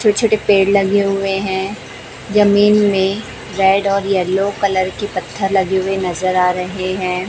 छोटे छोटे पेड़ लगे हुए हैं जमीन मे रेड और येलो कलर की पत्थर लगे हुए नजर आ रहे हैं।